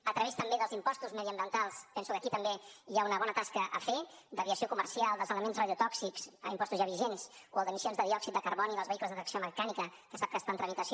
a través també dels impostos mediambientals penso que aquí també hi ha una bona tasca a fer a l’aviació comercial dels elements radiotòxics impostos ja vigents o el d’emissions de diòxid de carboni dels vehicles de tracció mecànica que sap que està en tramitació